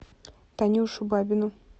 танюшу бабину